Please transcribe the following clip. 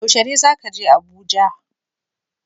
Yaushe ne zaka je Abuja?